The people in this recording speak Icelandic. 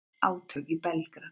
Átök í Belgrad